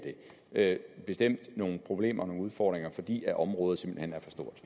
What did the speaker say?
det bestemt nogle problemer og nogle udfordringer fordi området simpelt hen